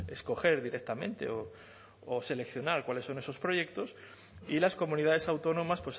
escoger directamente o seleccionar cuáles son esos proyectos y las comunidades autónomas